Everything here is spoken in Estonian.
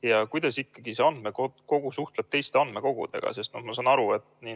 Ja kuidas ikkagi see andmekogu suhtleb teiste andmekogudega?